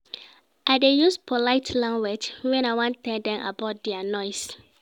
I dey use polite language wen I wan tell dem about their noise.